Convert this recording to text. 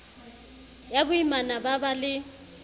ya boimana ba ba le